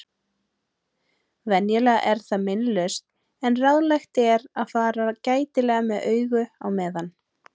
Venjulega er það meinlaust en ráðlegt er að fara gætilega með augu á meðan.